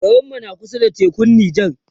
garinmu na kusa da tekun Nija